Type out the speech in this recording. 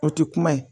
O tɛ kuma ye